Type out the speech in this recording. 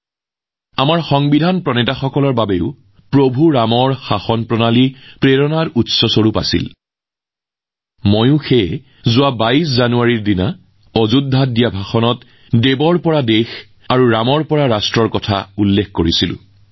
ভগৱান ৰামৰ শাসন আমাৰ সংবিধান নিৰ্মাতাসকলৰ বাবেও প্ৰেৰণাৰ উৎস আছিল আৰু সেইবাবেই ২২ জানুৱাৰীত অযোধ্যাত মই দেৱৰ পৰা দেশলৈ ৰামৰ পৰা ৰাষ্ট্ৰৰ কথা কৈছিলোঁ